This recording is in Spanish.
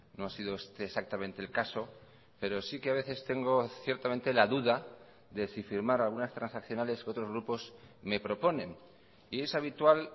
no ha sido este exactamente el caso pero sí que a veces tengo ciertamente la duda de si firmar algunas transaccionales que otros grupos me proponen y es habitual